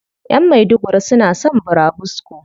Ƴan maiduguri suna son burabusko.